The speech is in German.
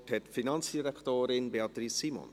Das Wort hat die Finanzdirektorin, Beatrice Simon.